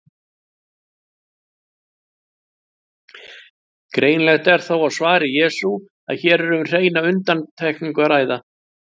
Greinilegt er þó á svari Jesú að hér er um hreina undantekningu að ræða.